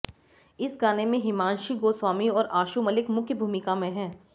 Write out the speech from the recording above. इस गाने में हिमांशी गोस्वामी और आशु मलिक मुख्य भूमिका में हैं